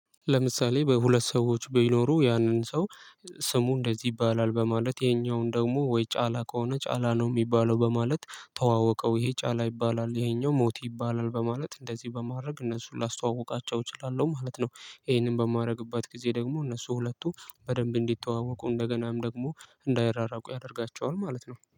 ለምሳሌ በሁለት ሰዎች ቢኖሩ ያንን ሰው ስሙ እንደዚህ ይባላል በማለት ይሄኛውን ደግሞ ወይ ጫላ ከሆነ ጫላ ነው የሚባለው በማለት ተዋወቀው ይሄ ጫላ ይባላል ይሄኛው ሞቲ ይባላል በማለት እንደዚህ በማድረግ እነሱ ላስተዋውቃቸው እችላለሁ ማለት ነው። ይሄንን በማድረግበት ጊዜ ደግሞ እነሱ ሁለቱ በደንብ እንዲተዋወቁ እንደገናም ደግሞ እንዳይራራቁ ያደርጋቸዋል ማለት ነው